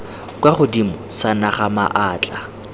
kwa godimo sa naga maatla